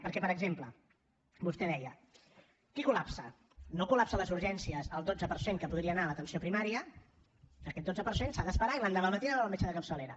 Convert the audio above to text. perquè per exemple vostè deia qui col·lapsa no col·lapsa les urgències el dotze per cent que podria anar a l’atenció primària aquest dotze per cent s’ha d’esperar i l’endemà al matí anar a veure el metge de capçalera